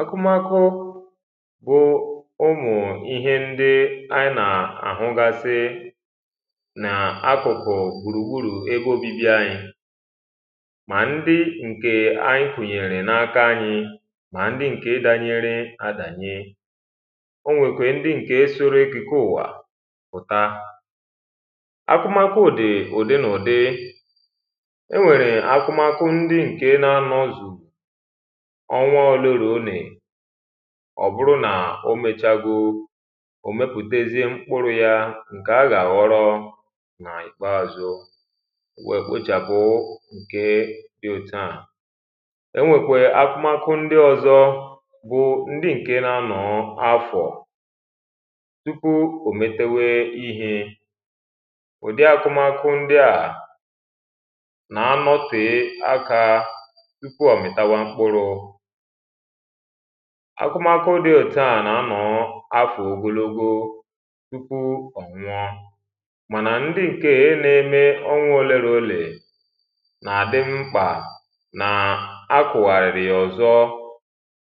akụmakụ bụ ụmụ̀ ịhe ndị anyi nà-àhụgasị nà akụ̀kụ̀ gbùrùgburù ebe obibi anyi mà ndị ǹkè anyi kụ̀nyèrè na-aka anyi mà ndị ǹke danyere adànye onwèkwèrè ndị ǹke soro ekìke ụ̀wà pụ̀ta akụmakụ dị̀ ùdị ǹ’ùdị enwèrè akụmakụ ndị ǹke na-anọzù ọnwa ọ̀dụrụ̄nì ọ̀bụrụ nàà omēchago òmepụ̀tezịe mkpurū ya ǹkè agà àghọrọwọ n’ìkpeazụ wèè kpechàpụ ǹkéé dị òtuà enwèkwèrè akụmakụ ndị ọ̄zọ̄ bụ ndị ǹke na-anọ̀ọ̄ afọ̀ tụpụ òmetewe ịhē ùdị akụmakụ ndịà nàa nọtèe akā tụpụ ọ̀mị̀tawa mkpurū akụmakụ dị òtuà nà-anọ̀ọ̄ afọ̀ ogologo tụpụ ọ̀nwụọọ mànà ndị ǹkeē n’eme ọnwa ole n‘olè nà-àdị mkpà nàà akụ̀wàrì yà ọ̀zọ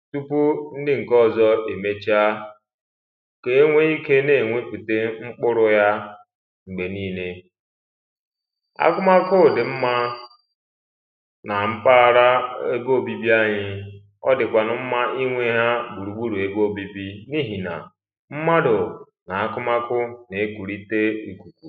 tụpụ ndị ǹke ọzọ èmecha kèe enwe ikē n’ènwepụ̀ta mkpurū ya m̀gbè niilē akụmakụ dị̀ mmā nà mkpaara ebe òbibi anyi ọdìkwànù mmā ịnwē ha gbùrùgburù ebe òbibi anyi n’ịhè nà mmadù nà-akụmakụ ǹ’egwùrịte n’ìkùkù